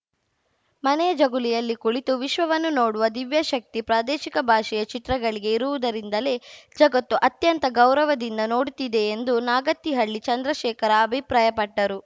ಮನೆಯ ಜಗುಲಿಯಲ್ಲಿ ಕುಳಿತು ವಿಶ್ವವನ್ನು ನೋಡುವ ದಿವ್ಯಶಕ್ತಿ ಪ್ರಾದೇಶಿಕ ಭಾಷೆಯ ಚಿತ್ರಗಳಿಗೆ ಇರುವುದರಿಂದಲೇ ಜಗತ್ತು ಅತ್ಯಂತ ಗೌರವದಿಂದ ನೋಡುತ್ತಿದೆ ಎಂದು ನಾಗತಿಹಳ್ಳಿ ಚಂದ್ರಶೇಖರ್‌ ಅಭಿಪ್ರಾಯಪಟ್ಟರು